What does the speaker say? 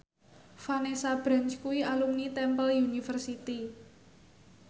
Vanessa Branch kuwi alumni Temple University